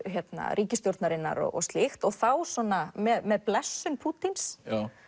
ríkisstjórnarinnar og slíkt og þá svona með blessun Pútíns